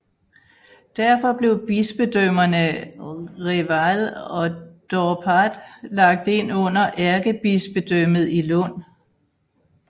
Derfor blev bispedømmerne Reval og Dorpat lagt ind under ærkebispedømmet i Lund